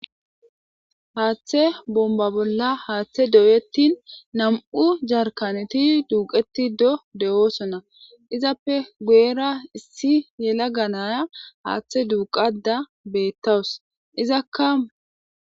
Haaththe bomba bolla haaththe doyettin nam7u jarkaneti duuqeti do de7oosona izappe guyera issi yela ganaya haaththe duuqada beettawus izakka.